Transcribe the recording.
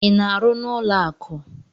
Ị na-arụ n'ụlọ akụ?